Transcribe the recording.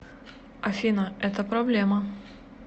афина это проблема